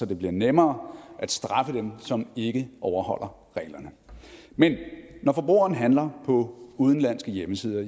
det bliver nemmere at straffe dem som ikke overholder reglerne men når forbrugeren handler på udenlandske hjemmesider